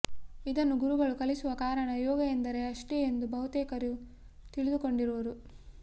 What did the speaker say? ಇದನ್ನು ಗುರುಗಳು ಕಲಿಸುವ ಕಾರಣ ಯೋಗ ಎಂದರೆ ಅಷ್ಟೇ ಎಂದು ಬಹುತೇಕರು ತಿಳಿದು ಕೊಂಡಿರುವುದು